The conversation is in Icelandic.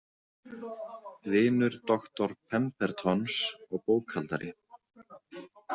Vinur doktor Pembertons og bókhaldari.